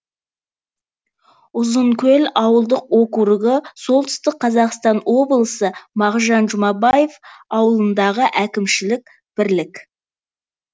ұзынкөл ауылдық округі солтүстік қазақстан облысы мағжан жұмабаев ауданындағы әкімшілік бірлік